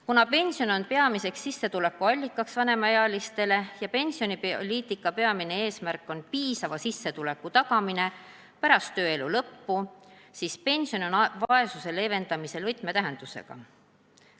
Kuna pension on vanemaealiste peamine sissetulekuallikas ja pensionipoliitika peamine eesmärk on piisava sissetuleku tagamine pärast tööelu lõppu, siis pension on vaesuse leevendamisel võtmetähendusega.